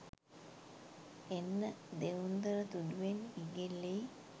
එන්න දෙවුන්දර තුඩුවෙන් ඉගිල්ලී